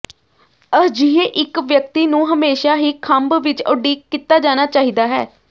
ਅਜਿਹੇ ਇੱਕ ਵਿਅਕਤੀ ਨੂੰ ਹਮੇਸ਼ਾ ਹੀ ਖੰਭ ਵਿੱਚ ਉਡੀਕ ਕੀਤਾ ਜਾਣਾ ਚਾਹੀਦਾ ਹੈ